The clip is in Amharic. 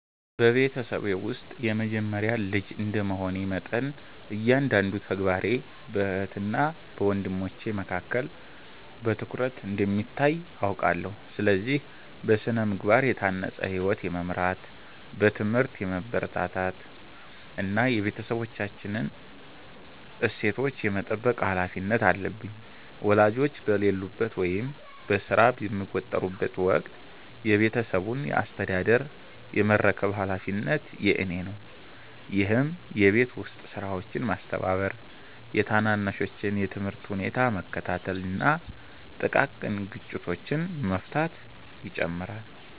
በቤተሰቤ ውስጥ የመጀመሪያ ልጅ እንደ መሆኔ መጠን፤ እያንዳንዱ ተግባሬ በእህትና ወንድሞቼ ዘንድ በትኩረት እንደሚታይ አውቃለሁ። ስለዚህ: በሥነ-ምግባር የታነጸ ሕይወት የመምራት፣ በትምህርቴ የመበርታት እና የቤተሰባችንን እሴቶች የመጠበቅ ኃላፊነት አለብኝ። ወላጆቼ በሌሉበት ወይም በሥራ በሚወጠሩበት ወቅት የቤቱን አስተዳደር የመረከብ ኃላፊነት የእኔ ነው፤ ይህም የቤት ውስጥ ሥራዎችን ማስተባበር፤ የታናናሾቼን የትምህርት ሁኔታ መከታተል እና ጥቃቅን ግጭቶችን መፍታትን ይጨምራል።